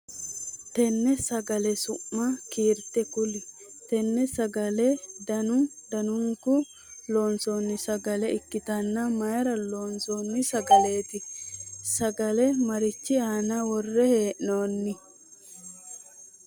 Tenne sagalete su'ma kiirte kuli? Tenne sagale danu danunkunni loonsoonni sagale ikitanna mayira loonsoonni sagaleeti? Sagale marichi aanna wore hee'noonni?